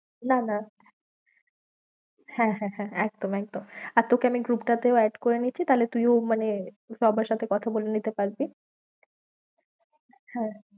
না না হ্যাঁ, হ্যাঁ, হ্যাঁ একদম একদম, আর তোকে আমি group টা তেও add করে নিচ্ছি, তাহলে তুইও মানে সবার সাথে কথা বলে নিতে পারবি হ্যাঁ।